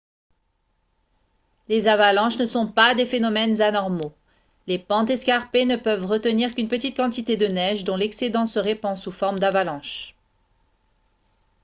les avalanches ne sont pas des phénomènes anormaux les pentes escarpées ne peuvent retenir qu'une petite quantité de neige dont l'excédent se répand sous forme d'avalanche